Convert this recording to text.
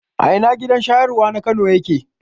A ina gidan shayarwa na Kano yake?